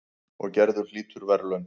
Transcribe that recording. Og Gerður hlýtur verðlaun.